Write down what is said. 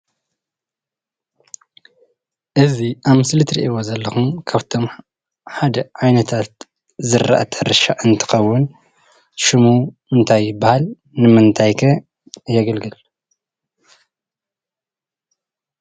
እዚ ኣብ ምስሊ እትርእይዎ ዘለኹም ካፍቶም ሓደ ዓይነታት ዝራእቲ ሕርሻ እንትኸዉን ሽሙ እንታይ ይብሃል? ንምንታይ ከ የገልግል?